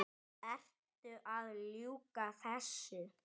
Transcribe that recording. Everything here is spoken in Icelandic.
Ertu að ljúga þessu?